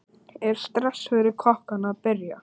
Er stress fyrir kokkana að byrja?